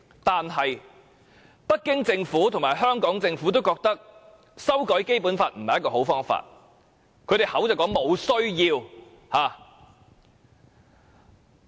可是，北京政府及香港政府均認為，修改《基本法》不是好方法，亦沒有這需要。